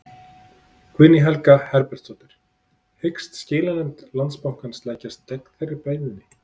Guðný Helga Herbertsdóttir: Hyggst skilanefnd Landsbankans leggjast gegn þeirri beiðni?